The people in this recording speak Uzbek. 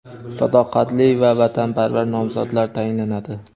sadoqatli va vatanparvar nomzodlar tayinlanadi.